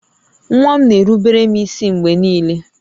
Nwa m na-erubere m ísí mgbe niile